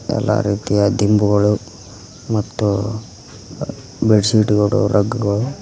ಎಲ್ಲಾ ರೀತಿಯ ದಿಂಬುಗಳು ಮತ್ತು ಬೆಡ್ಶೀಟ್ ಗಳು ರಗ್ಗಗಳು --